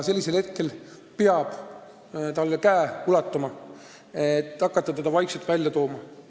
Sellisel hetkel peab talle käe ulatama, et hakata teda vaikselt sellest olukorrast välja tooma.